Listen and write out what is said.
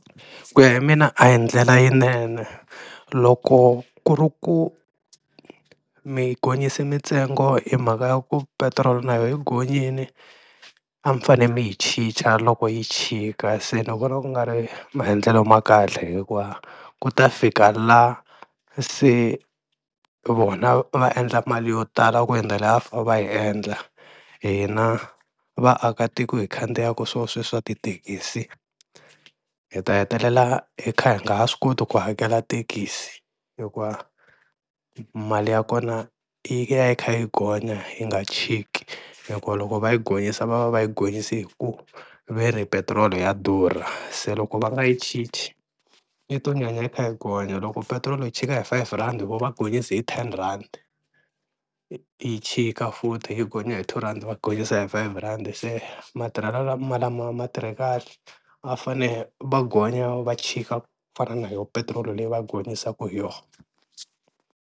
Ku ya hi mina a hi ndlela yinene loko ku ri ku mi gonyisa mitsengo hi mhaka ya ku petirolo na yo hi gonyini a mi fanele mi yi chicha loko yi chika, se ni vona ku nga ri maendlelo ma kahle hikuva ku ta fika la se vona va endla mali yo tala ku hindza la a va fane va yi endla, hina vaakatiko hi khandziyaka swo sweswiya swa tithekisi hi ta hetelela hi kha hi nga ha swi koti ku hakela thekisi hikuva mali ya kona yi ya yi kha yi gonya yi nga chiki hikuva loko va yi gonyisa va va va yi gonyisi hi ku veri petiroli ya durha, se loko va nga yi chichi yi to nyanya yi kha yi gonya loko petiroli yi chika hi five rhandi, vo va gonyisi hi ten rhandi yi chika futhi yi gonya hi two rhandi va gonyisa hi five rhandi, se matirhelo lama lama ma tirhi kahle a fane va gonya va chika ku fana na yoho petiroli leyi va gonyisanga hi yoho.